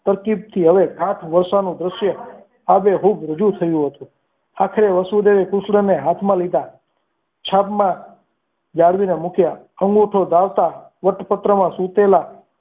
તરકીબથી હવે હાથ વરસાદનું દ્રશ્ય આજે ખૂબ રજૂ થયું હતું આખરે વાસુદેવ એ કૃષ્ણને હાથમાં લીધા છાબમાં જાળવીને મૂક્યા અંગૂઠો ધાવતા.